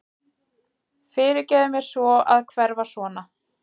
Fyrirgefðu mér að hverfa svona.